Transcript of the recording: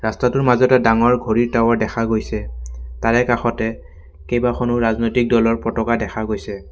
দৃশ্যটোৰ মাজতে ডাঙৰ ঘড়ীৰ টাৱাৰ দেখা গৈছে তাৰে কাষতে কেইবাখনো ৰাজনৈতিক দলৰ পতকা দেখা গৈছে।